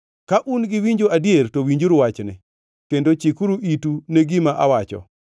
“Ka un gi winjo adier to winjuru wachni; kendo chikuru itu ne gima awacho.